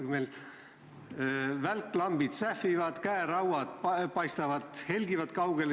Meil välklambid sähvivad, käerauad helgivad kaugele.